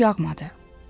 Çox yağmadı.